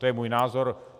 To je můj názor.